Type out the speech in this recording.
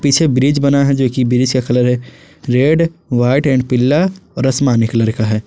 पीछे ब्रिज बना है जो कि ब्रिज का कलर है रेड व्हाइट एंड पीला और आसमानी कलर दिख रहा है।